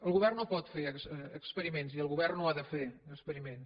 el govern no pot fer experiments i el govern no ha de fer experiments